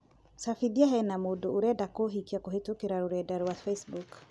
cabithia hena mundu arenda kuhikiakũhītũkīra rũrenda rũa facebook